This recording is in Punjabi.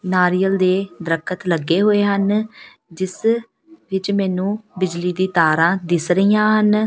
ਨਾਰੀਅਲ ਦੇ ਦਰਖਤ ਲੱਗੇ ਹੋਏ ਹਨ ਜਿਸ ਵਿੱਚ ਮੈਨੂੰ ਬਿਜਲੀ ਦੀ ਤਾਰਾਂ ਦਿੱਸ ਰਹੀਆਂ ਹਨ।